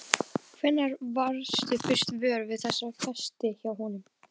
Hvenær varðstu fyrst vör við þessa festi hjá honum?